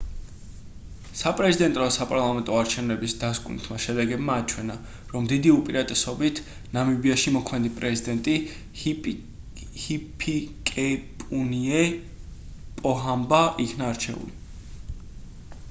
საპრეზიდენტო და საპარლამენტო არჩევნების დასკვნითმა შედეგებმა აჩვენა რომ დიდი უპირატესობით ნამიბიაში მოქმედი პრეზიდენტი ჰიფიკეპუნიე პოჰამბა იქნა არჩეული